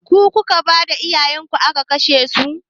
Ku kuka bada iyayenku aka kashesu?